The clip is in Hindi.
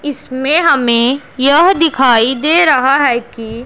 इसमें हमें यह दिखाई दे रहा है कि--